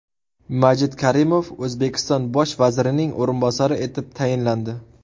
Majid Karimov O‘zbekiston bosh vazirining o‘rinbosari etib tayinlandi.